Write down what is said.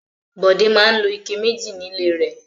Bọ̀dé máa ń lo ike méjì nílé rẹ̀.